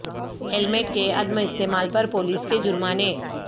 helmet کے عدم استعمال پر پولیس کے جرمانے